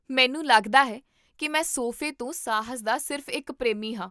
ਮੈਨੂੰ ਲੱਗਦਾ ਹੈ ਕੀ ਮੈਂ ਸੋਫੇ ਤੋਂ ਸਾਹਸ ਦਾ ਸਿਰਫ਼ ਇੱਕ ਪ੍ਰੇਮੀ ਹਾਂ!